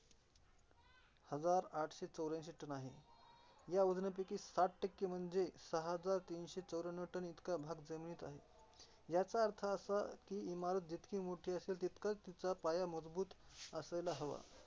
हजार आठशे चौऱ्यांशी ton आहे. ह्या वजनापैकी साठ टक्के म्हणजे सहा हजार तीनशे चौर्याण्णव ton भाग जमिनीत आहे ह्याचा अर्थ असा की, इमारत जितकी मोठी असेल तितका तिचा पाया मजबूत असायला हवा.